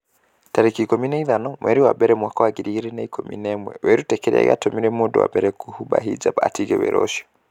tarĩki ikũmi na ithano mweri wa mbere mwaka wa ngiri igĩrĩ na ikũmi na ĩmweWĩrute kĩrĩa gĩatũmire mũndũ wa mbere kũhumba hijab 'atige wĩra ũcio.